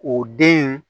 O den in